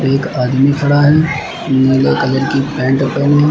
एक आदमी खड़ा है नीले कलर की पैंट पहने।